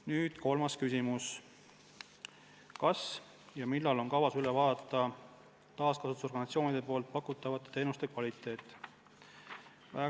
Nüüd kolmas küsimus: "Kas ja millal on kavas üle vaadata taaskasutusorganisatsioonide poolt pakutav teenuse kvaliteet?